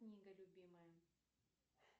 книга любимая